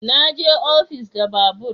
Na je ofis da babur